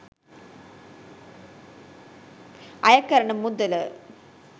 අයකරන මුදල